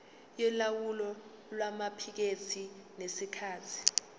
yolawulo lwamaphikethi ngesikhathi